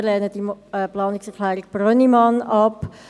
Wir lehnen die Planungserklärung Brönnimann ab.